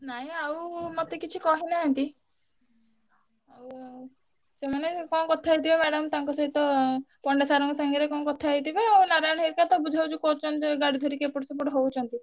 ନାଇଁ ଆଉ ମତେ କିଛି କହିନାହାନ୍ତି। ଆଉ ସେମାନେ କଣ କଥାହେଇଥିବେ madam ତାଙ୍କ ସହିତ ପଣ୍ଡା sir ଙ୍କ ସାଙ୍ଗରେ କଣ କଥା ହେଇଥିବେ ଆଉ ନାରାୟଣ ହରିକା ତ ବୁଝବୁଝି କରୁଛନ୍ତି ଗାଡି ଧରିକି ଏପଟ ସେପଟ ହଉଛନ୍ତି।